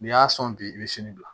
N'i y'a sɔn bi i bɛ sini bila